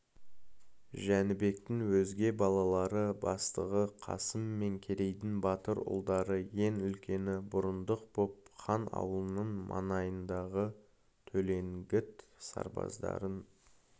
жәнібектің өзге балалары бастығы қасым мен керейдің батыр ұлдары ең үлкені бұрындық боп хан аулының маңайындағы төлеңгіт сарбаздарын